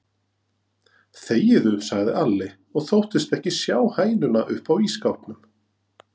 Þegiðu, sagði Alli og þóttist ekki sjá hænuna uppá ísskápnum.